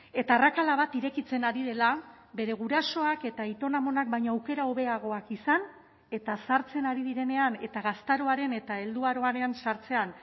eta arrakala bat irekitzen ari dela bere gurasoak eta aiton amonak baino aukera hobeagoak izan eta zahartzen ari direnean eta gaztaroaren eta helduaroaren zahartzean